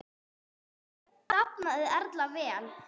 Eftir þetta dafnaði Erla vel.